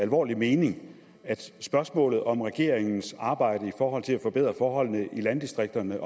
alvorlige mening at spørgsmålet om regeringens arbejde i forhold til at forbedre forholdene i landdistrikterne